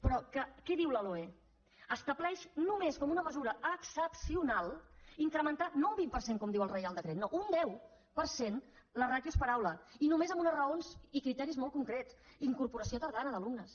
però què diu la loe estableix només com una mesura excepcionaldiu el reial decret no un deu per cent les ràtios per aula i només amb unes raons i criteris molt concrets incorporació tardana d’alumnes